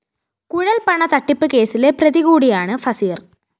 കുഴല്‍പണത്തട്ടിപ്പ് കേസിലെ പ്രതികൂടിയാണ് ഫസീര്‍